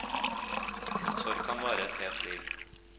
En sorg kan vare et helt liv.